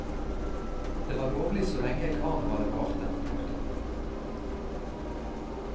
Det var lovlig så lenge karnevalet varte. punktum